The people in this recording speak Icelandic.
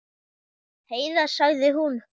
Heiða, sagði hún.